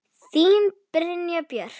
Þín Brynja Björk.